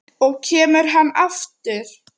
Og kemur hann aftur?